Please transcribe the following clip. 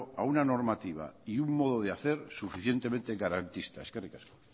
a una normativa y un modo de hacer suficientemente garantista eskerrik asko